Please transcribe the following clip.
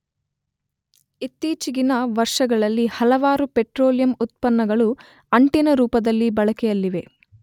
ಇತ್ತೀಚಿಗಿನ ವರ್ಷಗಳಲ್ಲಿ ಹಲವಾರು ಪೆಟ್ರೋಲಿಯಂ ಉತ್ಪನ್ನಗಳು ಅಂಟಿನ ರೂಪದಲ್ಲಿ ಬಳಕೆಯಲ್ಲಿವೆ.